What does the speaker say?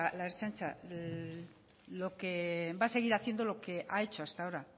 la ertzaintza lo que va a seguir haciendo lo que ha hecho hasta ahora